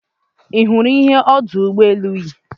Ị hụrụ ihe ọdụ ụgbọ elu yi?